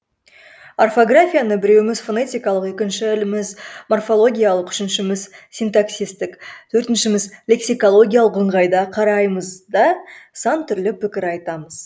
орфографияны біреуіміз фонетикалық екіншіміз морфологиялық үшіншіміз синтаксистік төртіншіміз лексикологиялық ыңғайда қараймыз да сан түрлі пікір айтамыз